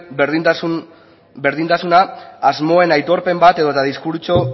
berdintasuna asmoen aitorpen bat edota diskurtso